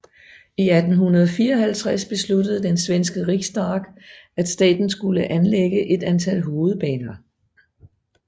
I 1854 besluttede den svenske Riksdag at staten skulle anlægge et antal hovedbaner